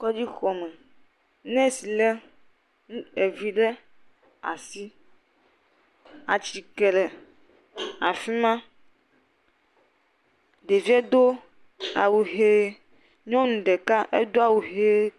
Kɔdzi xɔme. Nurse le ɖevi ɖe asi. Atike le afima. Ɖevia do awu ɣi, nyɔnu ɖeka tsɛ do awu ɣi.